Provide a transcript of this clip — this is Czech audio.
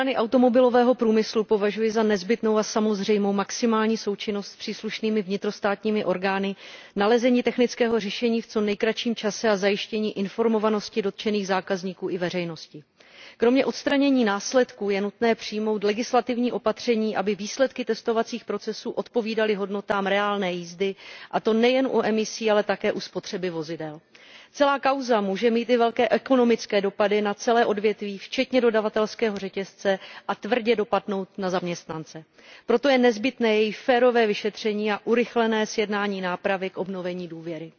Pane předsedající, je jasné, že v první řadě musí proběhnout řádné vyšetření toho, co se stalo. Ze strany automobilového průmyslu považuji za nezbytnou a samozřejmou maximální součinnost s příslušnými vnitrostátními orgány, nalezení technického řešení v co nejkratším čase a zajištění informovanosti dotčených zákazníků i veřejnosti. Kromě odstranění následků je nutné přijmout legislativní opatření, aby výsledky testovacích procesů odpovídaly hodnotám reálné jízdy, a to nejen u emisí, ale také u spotřeby vozidel. Celá kauza může mít i velké ekonomické dopady na celé odvětví včetně dodavatelského řetězce a tvrdě dopadnout na zaměstnance. Proto je nezbytné její férové vyšetření a urychlené sjednání nápravy k obnovení důvěry.